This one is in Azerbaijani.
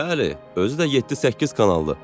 "Bəli, özü də 7-8 kanallı.